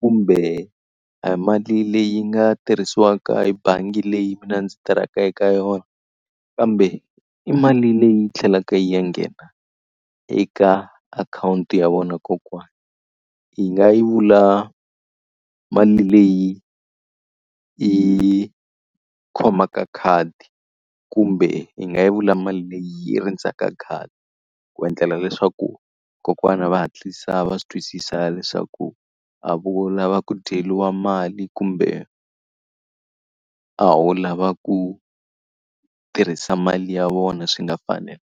kumbe a hi mali leyi nga tirhisiwaka hi bangi leyi mina ndzi tirhaka eka yona. Kambe i mali leyi tlhelaka yi ya nghena eka akhawunti ya vona kokwana. Hi nga yi vula mali leyi yi khomaka khadi, kumbe hi nga yi vula mali leyi yi rindzaka khadi, ku endlela leswaku vakokwana va hatlisa va swi twisisa leswaku a ho lava ku dyeriwa mali kumbe a wu lava ku tirhisa mali ya vona swi nga .